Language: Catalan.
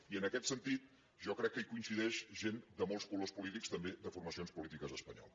i en aquest sentit jo crec que hi coincideix gent de molts colors polítics també de formacions polítiques espanyoles